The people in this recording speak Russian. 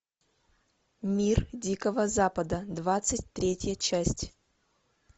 мир дикого запада двадцать третья часть